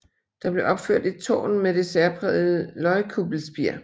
Der blev opført et tårn med det særprægede løgkuppelspir